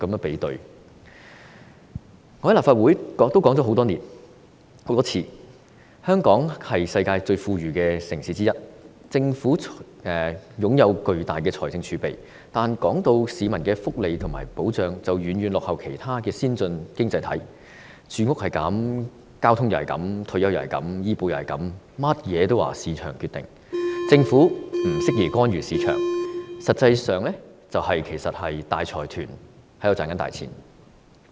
我在立法會已經多次提出，香港是世界上最富裕城市之一，政府坐擁龐大的財政儲備，但市民的福利和保障卻遠遠落後於其他先進經濟體，住屋如是、交通如是、退休如是、醫保如是，通通也說由市場決定，政府不適宜干預市場，實際上是讓大財團賺錢。